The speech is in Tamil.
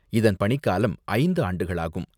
இதன் பணிக்காலம் ஐந்து ஆண்டுகளாகும்.